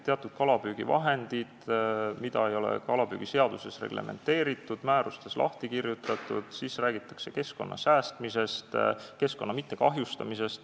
Teatud kalapüügivahendid ei ole kalapüügiseaduses reglementeeritud ega määrustes lahti kirjutatud, räägitakse keskkonna säästmisest, keskkonna mittekahjustamisest.